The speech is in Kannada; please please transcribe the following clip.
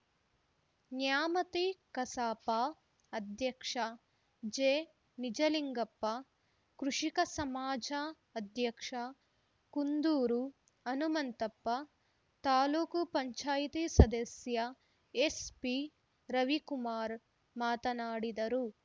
ನ್ಯಾಮತಿ ಕಸಾಪ ಅಧ್ಯಕ್ಷ ಜಿನಿಜಲಿಂಗಪ್ಪ ಕೃಷಿಕ ಸಮಾಜ ಅಧ್ಯಕ್ಷ ಕುಂದೂರು ಹನುಮಂತಪ್ಪ ತಾಲೂಕ್ ಪಂಚಾಯಿತಿ ಸದಸ್ಯ ಎಸ್‌ಪಿರವಿಕುಮಾರ ಮಾತನಾಡಿದರು